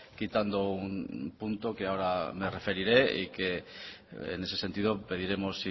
quitando un punto que ahora me referiré y que en ese sentido pediremos